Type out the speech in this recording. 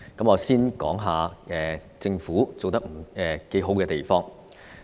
我先談政府做得不錯的地方。